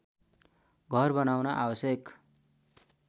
घर बनाउन आवश्यक